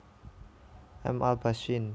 M alba syn